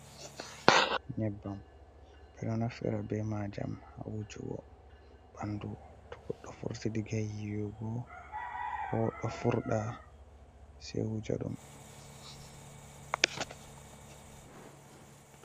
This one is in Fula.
Nyebbam ɓeɗo naftira be majam ha wujugo ɓandu to goɗɗo vurti diga yiwugo ko ɗo furɗa sei wuja ɗum.